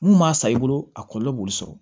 Mun m'a san i bolo a kɔlɔlɔ b'olu sɔrɔ